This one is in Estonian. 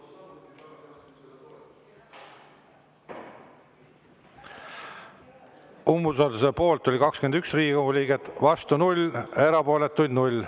Umbusalduse avaldamise poolt oli 21 Riigikogu liiget, vastu 0, erapooletuid 0.